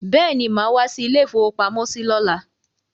Bẹ́ẹ̀ni, màá wá sí ilé-ìfowópamọ́sí lọ́la.